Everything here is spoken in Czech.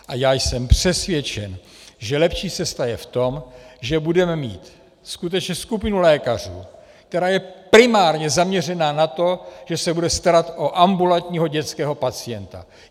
A já jsem přesvědčen, že lepší cesta je v tom, že budeme mít skutečně skupinu lékařů, která je primárně zaměřena na to, že se bude starat o ambulantního dětského pacienta.